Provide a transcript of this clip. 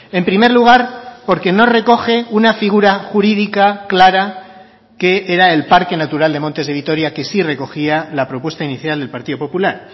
en primer lugar porque no recoge una figura jurídica clara que era el parque natural de montes de vitoria que sí recogía la propuesta inicial del partido popular